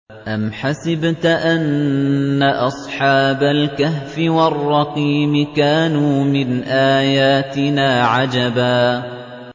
أَمْ حَسِبْتَ أَنَّ أَصْحَابَ الْكَهْفِ وَالرَّقِيمِ كَانُوا مِنْ آيَاتِنَا عَجَبًا